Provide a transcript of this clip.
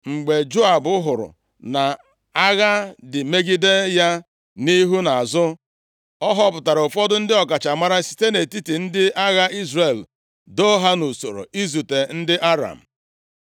Mgbe Joab hụrụ na agha dị megide ya nʼihu na azụ, ọ họpụtara ụfọdụ ndị ọkachamara site nʼetiti ndị agha Izrel, doo ha nʼusoro izute ndị Aram.